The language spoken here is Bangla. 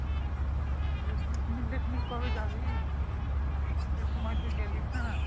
picnic টিকনিক কবে যাবি শীতের সময় তো গেলি না